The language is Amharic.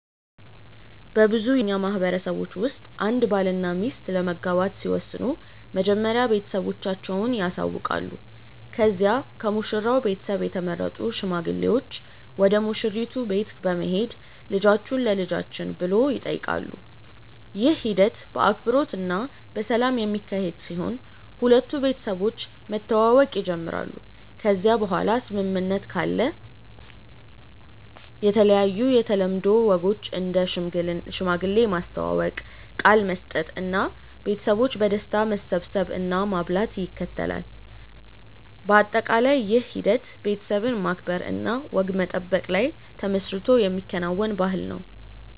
በብዙ የእኛ ማህበረሰቦች ውስጥ አንድ ባልና ሚስት ለመጋባት ሲወስኑ መጀመሪያ ቤተሰቦቻቸውን ያሳውቃሉ ከዚያ ከሙሽራው ቤተሰብ የተመረጡ ሽማግሌዎች ወደ ሙሽራይቱ ቤት በመሄድ ልጆቹን ለልጆችን ብሎ ይጠይቃሉ። ይህ ሂደት በአክብሮት እና በሰላም የሚካሄድ ሲሆን ሁለቱ ቤተሰቦች መተዋወቅ ይጀምራሉ ከዚያ በኋላ ስምምነት ካለ የተለያዩ የተለምዶ ወጎች እንደ ሽማግሌ ማስተዋወቅ፣ ቃል መስጠት እና ቤተሰቦች በደስታ መሰብሰብ እና ማብላት ይከተላል። በአጠቃላይ ይህ ሂደት ቤተሰብን ማክበር እና ወግ መጠበቅ ላይ ተመስርቶ የሚከናወን ባህልን ነው።